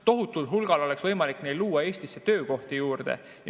Tohutul hulgal oleks võimalik luua Eestisse töökohti juurde.